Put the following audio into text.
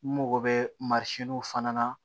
N mago bɛ fana na